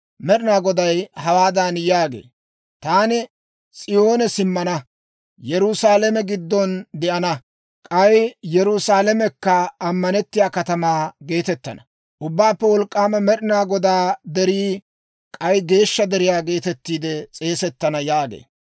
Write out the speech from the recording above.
Med'inaa Goday hawaadan yaagee; ‹Taani S'iyoone simmana; Yerusaalame giddon de'ana. K'ay Yerusaalamekka Ammanettiyaa Katamaa geetettana; Ubbaappe Wolk'k'aama Med'inaa Godaa derii k'ay Geeshsha Deriyaa geetettiide s'eesettana› yaagee.